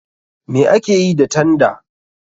Me akeyi ta tanda?